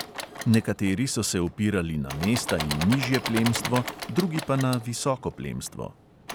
Nekateri so se opirali na mesta in nižje plemstvo, drugi pa na visoko plemstvo.